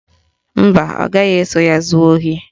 Mba, ọ gaghị eso ya zuo ohi